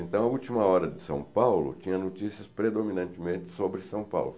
Então, a Última Hora de São Paulo tinha notícias predominantemente sobre São Paulo.